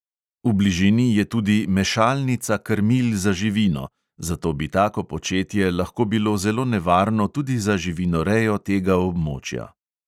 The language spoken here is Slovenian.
V bližini je tudi mešalnica krmil za živino, zato bi tako početje lahko bilo zelo nevarno tudi za živinorejo tega območja.